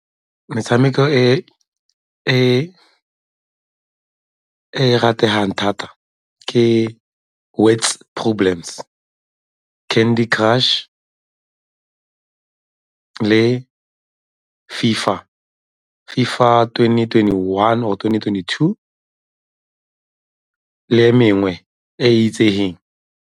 Metshameko e e rategang thata ke Words Problems, Candy Crush le FIFA, FIFA twenty twenty-one or twenty twenty-two le e mengwe e e itsegeng.